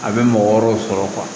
A bɛ mɔgɔ wɛrɛw sɔrɔ